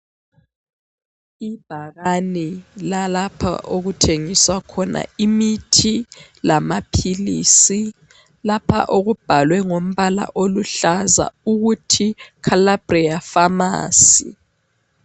Ibhakane lalapho okuthengiswa khona imithi lamaphilisi. Lapha okubhalwe ngombala aluhlaza ukuthi Calabria Pharmacy.